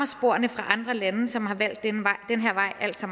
sporene fra andre lande som har valgt den her vej altså